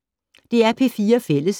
DR P4 Fælles